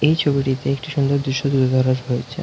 এই ছবিটিতে একটি সুন্দর দৃশ্য তুলে ধরা হয়েছে।